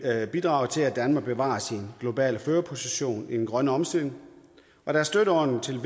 bidrage til at danmark bevarer sin globale førerposition i den grønne omstilling da støtteordningen til